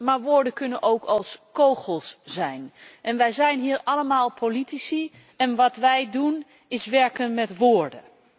maar woorden kunnen ook als kogels zijn en wij zijn hier allemaal politici en wat wij doen is werken met woorden.